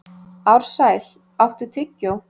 Ársæl, áttu tyggjó?